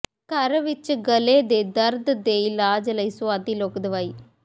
ਘਰ ਵਿਚ ਗਲ਼ੇ ਦੇ ਦਰਦ ਦੇ ਇਲਾਜ ਲਈ ਸੁਆਦੀ ਲੋਕ ਦਵਾਈ